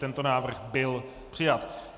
Tento návrh byl přijat.